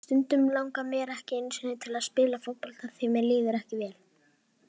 Stundum langar mig ekki einu sinni til að spila fótbolta því mér líður ekki vel.